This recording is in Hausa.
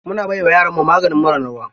Muna bai wa yaranmu maganin mura na ruwa.